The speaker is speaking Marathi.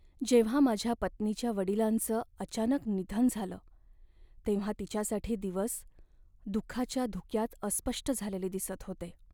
जेव्हा माझ्या पत्नीच्या वडिलांचं अचानक निधन झालं तेव्हा तिच्यासाठी दिवस दुःखाच्या धुक्यात अस्पष्ट झालेले दिसत होते.